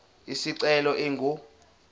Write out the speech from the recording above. isicelo ingu r